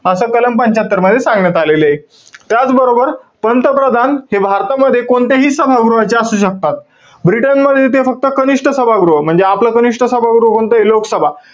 असं कलम पंच्यात्तर मध्ये सांगण्यात आलेलय. त्याचबरोबर, पंतप्रधान हे भारतामध्ये, कोणत्याही सभागृहाचे असू शकतात. ब्रिटनमध्ये ते फक्त कनिष्ठ सभागृह, म्हणजे आपलं कनिष्ठ सभागृह कोणतय? लोकसभा.